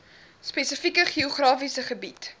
spesifieke geografiese gebied